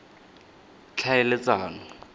tlhaeletsano